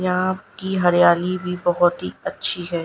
यहां की हरियाली भी बहोत ही अच्छी है।